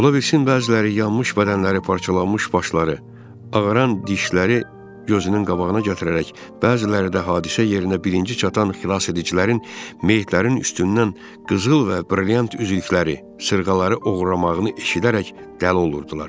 Ola bilsin bəziləri yanmış bədənləri, parçalanmış başları, ağaran dişləri gözünün qabağına gətirərək, bəziləri də hadisə yerinə birinci çatan xilas edicilərin meyitlərin üstündən qızıl və brilyant üzükləri, sırğaları oğurlamağını eşidərək dəli olurdular.